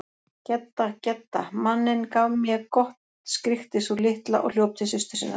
Gedda, Gedda, manninn gaf mé gott skríkti sú litla og hljóp til systur sinnar.